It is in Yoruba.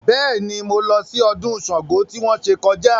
Bẹ́ẹ̀ ni, mo lọ sí ọdún Ṣàngó tí wọ́n ṣe kọjá